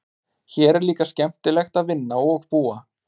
Hér er líka skemmtilegt að vinna og búa.